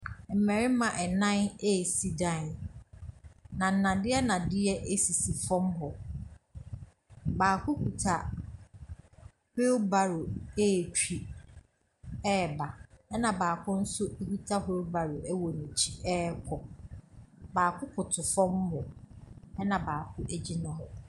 Mmarima nnan resi dan, na nnadeɛ nnadeɛ sisi fam hɔ. Baako kuta wheelbarrow retwi reba, ɛnna baako nso kuta wheelbarrow wɔ n'akyirekɔ. Baako koto fam hɔ, ɛnna baako gyyina hɔ.